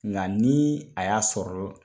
Nka ni a y'a sɔrɔ